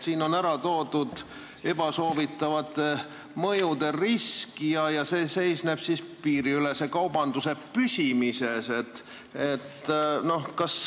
Siin on ära toodud ebasoovitavate mõjude risk ja see seisneb piiriülese kaubanduse püsimises.